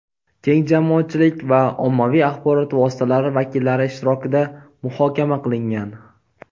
keng jamoatchilik va ommaviy axborot vositalari vakillari ishtirokida muhokama qilingan.